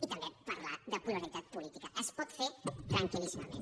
i també parlar de pluralitat política es pot fer tranquil·líssimament